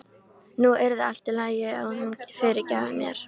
Nú yrði allt í lagi og hún fyrirgæfi mér.